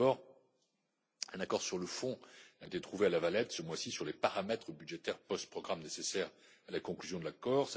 Tout d'abord, un accord sur le fond a été trouvé à La Valette, ce mois ci, sur les paramètres budgétaires post programme nécessaires à la conclusion de l'accord.